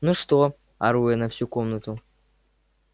ну что ору я на всю комнату